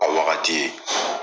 A wagati.